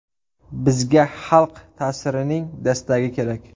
Bizga xalq ta’sirining dastagi kerak.